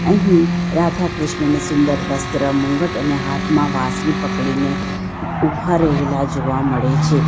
અહિ રાધાકૃષ્ણને સુંદર વસ્ત્ર મુગટ અને હાથમાં વાસની પકડીને ઊભા રહેલા જોવા મળે છે.